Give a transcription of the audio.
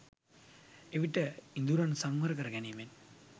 එවිට ඉඳුරන් සංවර කරගැනීමෙන්